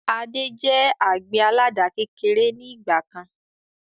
Adé jẹ àgbẹ̀ àládà kékeré ni ìgbàkan